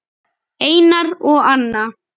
Einar og Anna.